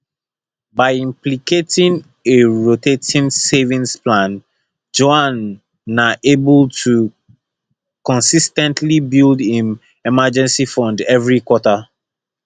by implementing a rotating savings plan juan na able to consis ten tly build im emergency fund everi quarter